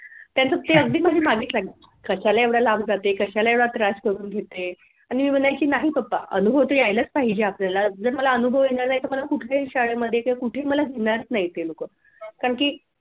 त्यांचं ते अगदी माझ्या मागेच लागले कशाला एवढ्या लांब जाते कशाला एवढा त्रास करून घेते पण मी म्हणायची नाही पप्पा अनुभव तर यायलाच पाहिजे आपल्याला जर मला अनुभव येणार नाही मला कुठेही शाळेमध्ये तर कुठे मला घेणार नाही ते लोक कारण की